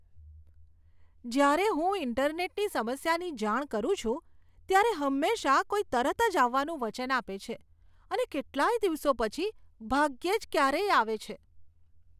જ્યારે હું ઈન્ટરનેટની સમસ્યાની જાણ કરું છું ત્યારે હંમેશા કોઈક તરત જ આવવાનું વચન આપે છે અને કેટલાય દિવસો પછી ભાગ્યે જ ક્યારેય આવે છે.